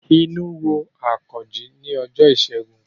Inú ro Àkànjí ni ọjọ́ ìṣẹ́gun